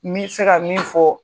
N mi se ka min fɔ